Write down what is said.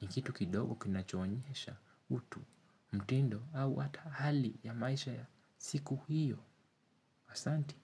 Ni kitu kidogo kinachoonyesha utu, mtindo au hata hali ya maisha ya siku hiyo, asanti.